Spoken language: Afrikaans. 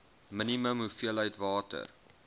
minimum hoeveelheid water